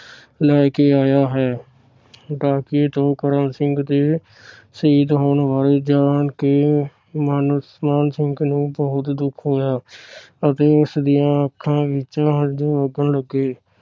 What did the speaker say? ਲੈ ਕੇ ਆਇਆ ਹੈ । ਡਾਕੀਏ ਤੋਂ ਕਰਮ ਸਿੰਘ ਦੇ ਸ਼ਹੀਦ ਹੋਣ ਵਾਲੀ ਜਾਨ ਕੇ ਮਾਣ ਸਿੰਘ ਨੂੰ ਬਹੁੱਤ ਦੁੱਖ ਹੋਇਆ ਅਤੇ ਉਸ ਦੀਆ ਅੱਖਾਂ ਵਿਚ ਹੰਜੂ ਵਗਣ ਲਗੇ।